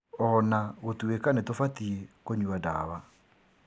Ona gũtuĩka nĩtubatiĩ kũnyua ndawa